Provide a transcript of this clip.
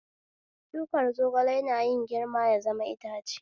Shukar zogale yana yin girma ya zama itace